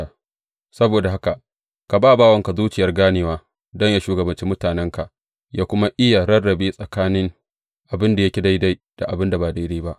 Saboda haka ka ba bawanka zuciyar ganewa, don yă shugabanci mutanenka, yă kuma iya rarrabe tsakanin abin da yake daidai da abin da ba daidai ba.